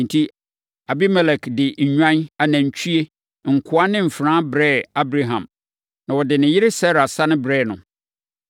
Enti, Abimelek de nnwan, anantwie, nkoa ne mfenaa brɛɛ Abraham. Na ɔde ne yere Sara sane brɛɛ no.